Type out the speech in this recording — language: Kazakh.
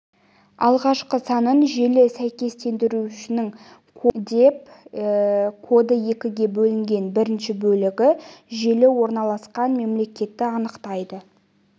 алғашқы санын желі сәйкестендіруінің коды деп коды екіге бөлінген бірінші бөлігі желі орналасқан мемлекетті анықтайды